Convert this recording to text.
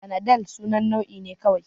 Fanadal sunan nau'i ne kawai